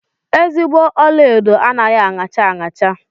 Ezigbo ọlaedo anaghị aṅacha aṅacha.